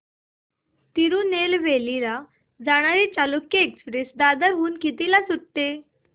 तिरूनेलवेली ला जाणारी चालुक्य एक्सप्रेस दादर हून कधी सुटते